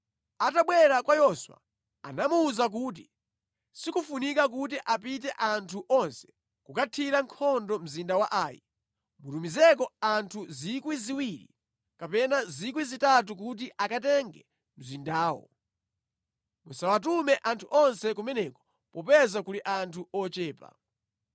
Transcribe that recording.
Atabwera kwa Yoswa, anamuwuza kuti, “Sikofunika kuti apite anthu onse kukathira nkhondo mzinda wa Ai. Mutumizeko anthu 2,000 kapena 3,000 kuti akatenge mzindawo. Musawatume anthu onse kumeneko popeza kuli anthu ochepa.”